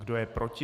Kdo je proti?